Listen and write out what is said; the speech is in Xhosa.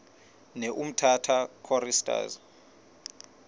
ne umtata choristers